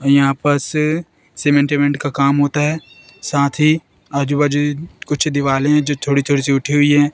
और यहां पर से सीमेंट विमेंट काम होता है साथ ही आज बाजू कुछ दीवाले जो छोटी छोटी सी उठी हुई हैं--